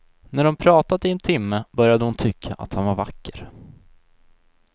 När de pratat i en timme började hon tycka att han var vacker.